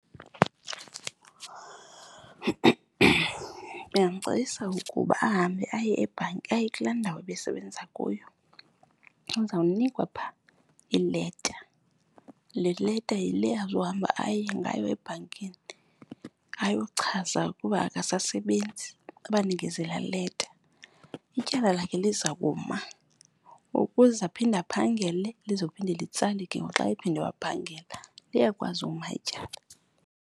Ndingamcebisa ukuba ahambe aye kulaa ndawo ebesebenza kuyo azawunikwa phaa ileta. Le leta yile azohamba aye ngayo ebhankini ayochaza ukuba akasasebenzi, abanikeze la leta. Ityala lakhe liza kuma ukuze aphinde aphangele lizophinde litsale ke ngoku xa ephinde waphangela. Liyakwazi uma ityala.